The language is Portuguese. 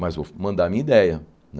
Mas vou fa mandar a minha ideia né.